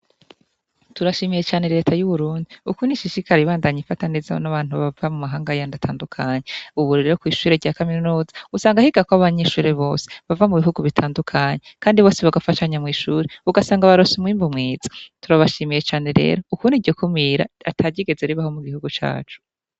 Turashimiye cane leta y'uwurundi uku ni ishishikara ibandanyi ifataneza n'abantu bava mu mahanga ya ndatandukanya uburi rero kw'ishure rya kaminuza usanga ahiga ko abanyishure bose bava mu bihugu bitandukanyi, kandi bose bagafashanya mw'ishure ugasanga barosha umwimbo mwiza turabashimiye cane rero ukuni iryo kumira atagyigeze ribaho mu gihugu cacu.